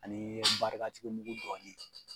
Ani i bɛ barikatigi mugu dɔɔnin